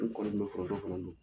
N kɔni bɛ foronto fana dun.